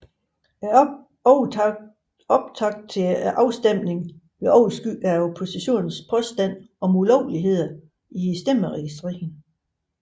Optakten til afstemningen blev overskygget af oppositionens påstande om ulovligheder i stemmeregistreringen